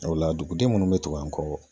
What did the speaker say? O la duguden munnu be tugu an kɔ